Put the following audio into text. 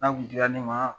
N'a kun dira ne ma